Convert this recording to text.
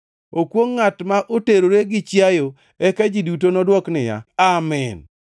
“Okwongʼ ngʼat ma oterore gi chiayo.” Eka ji duto nodwok niya, “Amin!”